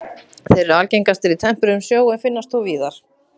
Þeir eru algengastir í tempruðum sjó en finnast þó víðar.